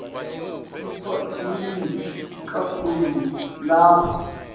eswatini kakhulu lapha